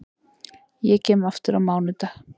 Ég kem aftur á mánudag.